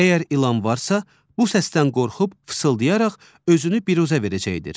Əgər ilan varsa, bu səsdən qorxub fısıldayaraq özünü biruzə verəcəkdir.